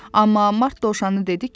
Amma Mart Dovşanı dedi ki,